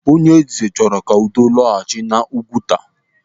Onyeeze chọrọ ka udo lọghachi n'Ụgwuta.